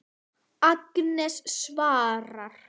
Agnes svarar.